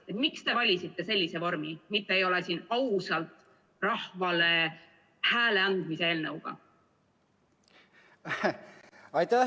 Miks te valisite sellise vormi, mitte ei ole siin ausalt rahvale hääle andmise eelnõuga?